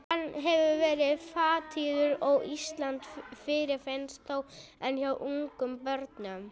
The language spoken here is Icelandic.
Hann hefur verið fátíður á Íslandi en fyrirfinnst þó enn hjá ungum börnum.